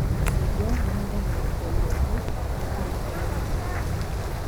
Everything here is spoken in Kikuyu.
Macungwa mahũthagĩra ihinda iraihu gũkũra mbere ya kũgethwo